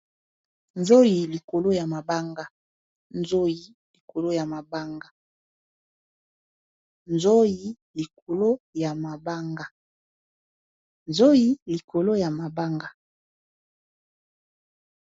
Nzoyi likolo ya mabanga.